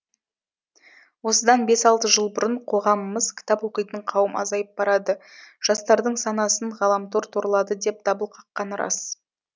осыдан бес алты жыл бұрын қоғамымыз кітап оқитын қауым азайып барады жастардың санасын ғаламтор торлады деп дабыл қаққаны рас